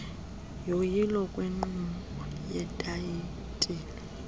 yoyilo lwenkqubo yetayitile